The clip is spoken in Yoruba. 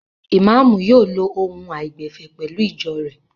Ìmáámù yóò lo ohùn àìgbẹ̀fẹ̀ pẹ̀lú ìjọ rẹ̀.